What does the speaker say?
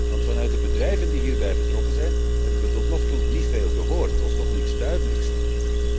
Want vanuit de bedrijven die hierbij betrokken zijn, hebben we tot nog toe niet veel gehoord of niets duidelijks gehoord.